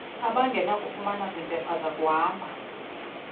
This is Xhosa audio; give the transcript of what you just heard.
abangenakufumana zimpepha zakuhamba